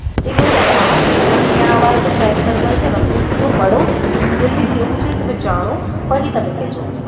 એક દીવસ આવો તમે અને ત્યાં અમારે જે friend circle છે ને એને તમે મળો દિલ્હી કેવું છે તમે જાણો પછી તમે કેજો.